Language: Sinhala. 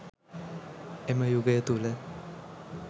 එම යුගය තුළ